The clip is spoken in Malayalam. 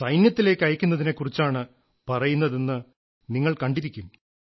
സൈന്യത്തിലേക്കയക്കുന്നതിനെക്കുറിച്ചാണ് പറയുന്നതെന്ന് നിങ്ങൾ കണ്ടിരിക്കും